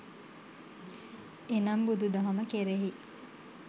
එනම් බුදු දහම කෙරෙහි